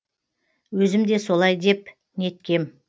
өзім де солай деп неткем